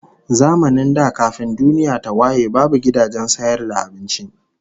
Zamanin da kafin duniya ta waye babu gidajen sayar da abinci